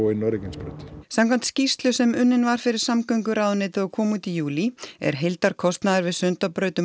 inn á Reykjanesbraut samkvæmt skýrslu sem unnin var fyrir samgönguráðuneytið og kom út í júlí er heildarkostnaður við Sundabraut um